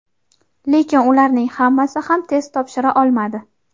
lekin ularning hammasi ham test topshira olmadi.